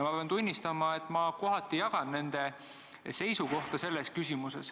Ma pean tunnistama, et ma mõneti jagan nende seisukohta.